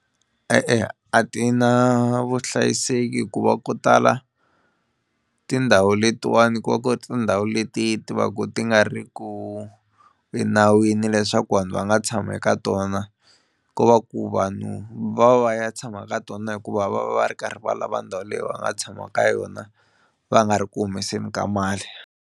E-e a ti na vuhlayiseki hikuva ku tala tindhawu letiwani ku va ku ri tindhawu leti ti va ku ti nga ri ku enawini leswaku vanhu va nga tshama eka tona ko va ku vanhu va va ya tshama ka tona hikuva va va va ri karhi va lava ndhawu leyi va nga tshamaka ka yona va nga ri ku humeseli ka mali.